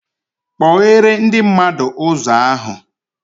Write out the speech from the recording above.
Kpoghere ndị mmadụ ụzọ ahụ